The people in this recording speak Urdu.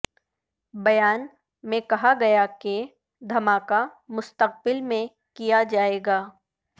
بیان میں کہا گیا کہ دھماکہ مستقبل میں کیا جائے گا